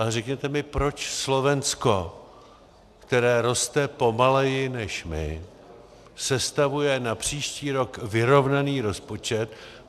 Ale řekněte mi, proč Slovensko, které roste pomaleji než my, sestavuje na příští rok vyrovnaný rozpočet?